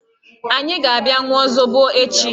Anyị ga-abịa ṅụọ zobo echi.